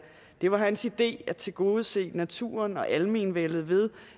det var hans idé at tilgodese naturen og almenvældet ved